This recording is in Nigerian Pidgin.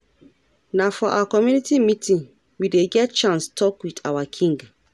Na for our community meeting we dey get chance tok wit our king.